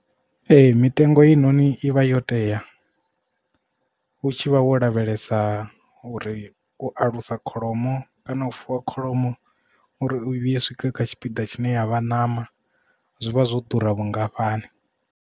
Ee mitengo i noni i vha yo tea u tshivha wo lavhelesa uri u alusa kholomo kana u fuwa kholomo uri u vhuye swike kha tshipiḓa tshine yavha ṋama zwivha zwo ḓura vhungafhani.